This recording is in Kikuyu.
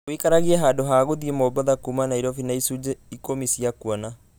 ũikaragie handũ ha gũthiĩ mombatha kuuma nairobi na icunjĩ ikũmi cia kuona